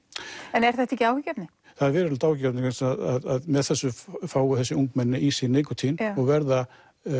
en er þetta ekki áhyggjuefni það er verulegt áhyggjuefni vegna þess að með þessu fá þessi ungmenni í sig nikótín og verða